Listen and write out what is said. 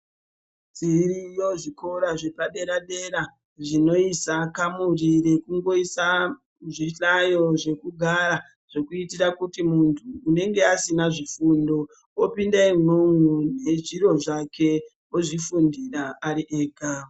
Zviriyo zvikora zvepadera-dera zvinoisa kamuri rekungoisa zvihlayo zvekugara. Zvekuitira kuti muntu anenge asina zvifundo opinda imwomwo nezviro zvake ozvifundira ari ega.